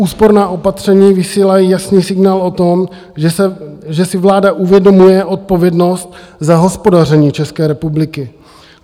Úsporná opatření vysílají jasný signál o tom, že si vláda uvědomuje odpovědnost za hospodaření České republiky.